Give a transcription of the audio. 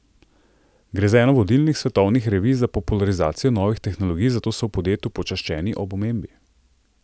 Gre za eno vodilnih svetovnih revij za popularizacijo novih tehnologij, zato so v podjetju počaščeni ob omembi.